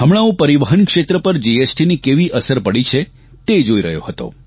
હમણાં હું પરિવહન ક્ષેત્ર પર જીએસટીની કેવી અસર પડી છે તે જોઇ રહ્યો હતો